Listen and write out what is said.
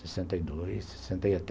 Sessenta e dois.